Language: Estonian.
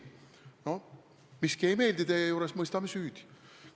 Miski ei meeldi teie juures – mõistame süüdi.